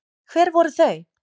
Hver voru þau?